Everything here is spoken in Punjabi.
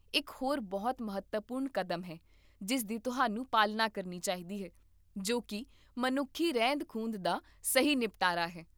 ਇਕ ਹੋਰ ਬਹੁਤ ਮਹੱਤਵਪੂਰਨ ਕਦਮ ਹੈ ਜਿਸ ਦੀ ਤੁਹਾਨੂੰ ਪਾਲਣਾ ਕਰਨੀ ਚਾਹੀਦੀ ਹੈ, ਜੋ ਕੀ ਮਨੁੱਖੀ ਰਹਿੰਦ ਖੂੰਹਦ ਦਾ ਸਹੀ ਨਿਪਟਾਰਾ ਹੈ